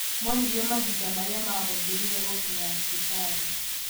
Moririo mahinda marĩa mahũthĩrire gũkinya thibitarĩ